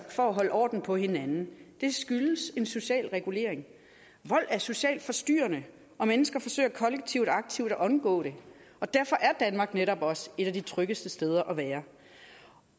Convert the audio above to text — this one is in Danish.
for at holde orden på hinanden det skyldes en social regulering vold er socialt forstyrrende og mennesker forsøger kollektivt aktivt at undgå det derfor er danmark netop også et af de tryggeste steder at være